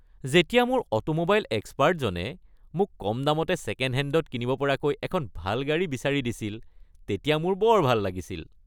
যেতিয়া মোৰ অটোমোবাইল এক্সপাৰ্টজনে মোক কমদামতে ছেকেণ্ডহেণ্ডত কিনিব পৰাকৈ এখন ভাল গাড়ী বিচাৰি দিছিল তেতিয়া মোৰ বৰ ভাল লাগিছিল।